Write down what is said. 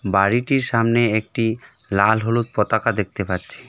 বাড়িটির সামনে একটি লাল হলুদ পতাকা দেখতে পাচ্ছি.